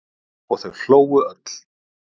Og þau hlógu öll.